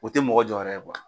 O te mɔgɔ jɔyɔrɔ ye